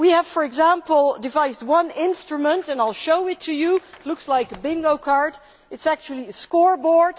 For example, we have devised one instrument and I will show it to you, it looks like a bingo card, it is actually a scoreboard.